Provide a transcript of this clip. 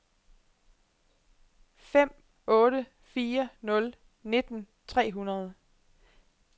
fem otte fire nul nitten tre hundrede